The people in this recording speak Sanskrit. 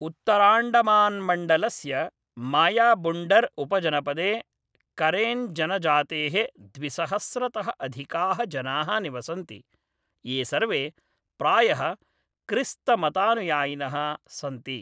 उत्तराण्डमान्मण्डलस्य मायाबुण्डर् उपजनपदे करेन्जनजातेः द्विसहस्रतः अधिकाः जनाः निवसन्ति, ये सर्वे प्रायः क्रिस्तमतानुयायिनः सन्ति।